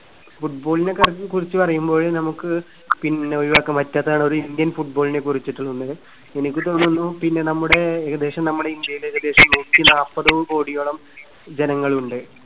football നെ കുറിച്ച്, കുറിച്ച് പറയുമ്പോഴ് നമുക്ക് പിന്നെ ഒഴിവാക്കാൻ പറ്റാത്തതാണ് ഒരു indian football നെ കുറിച്ചിട്ടുള്ളത്. എനിക്ക് തോന്നുന്നു. പിന്നെ നമ്മുടെ ഏകദേശം നമ്മുടെ ഇന്ത്യയില് ഏകദേശം നൂറ്റിനാല്പത് കോടിയോളം ജനങ്ങളുണ്ട്.